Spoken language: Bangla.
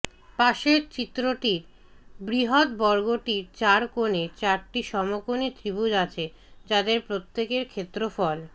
পাশের চিত্রটির বৃহত বর্গটির চার কোণে চারটি সমকোণী ত্রিভুজ আছে যাদের প্রত্যেকের ক্ষেত্রফল